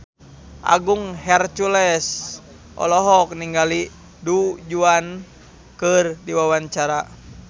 Agung Hercules olohok ningali Du Juan keur diwawancara